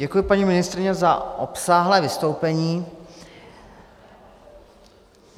Děkuji, paní ministryně, za obsáhlé vystoupení.